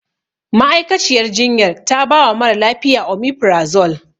Ma'aikaciyar jinyar ta bawa mara lafiya. Omefirazol.